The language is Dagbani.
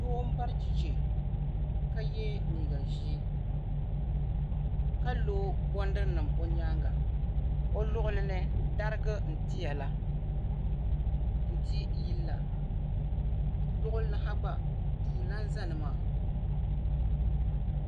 Doo m-bari cheche ka ye leega ʒee ka lo bɔndirinima o nyaaŋa o luɣuli ni dariga n-tiya la n-tili yili la o luɣuli ha gba duu n-lan zaya ni maa